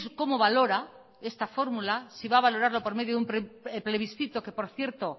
cómo valora esta fórmula si va a valorarla por medio de un plebiscito que por cierto